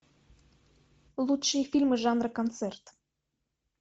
лучшие фильмы жанра концерт